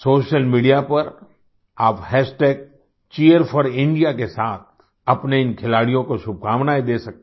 social media पर आप Cheer4India के साथ अपने इन खिलाड़ियों को शुभकामनाएँ दे सकते हैं